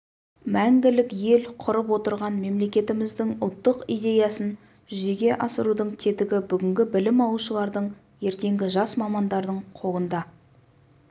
мәңгілік ел құрып отырған мемлекетіміздің ұлттық идеясын жүзеге асырудың тетігі бүгінгі білім алушылардың ертеңгі жас мамандардың қолында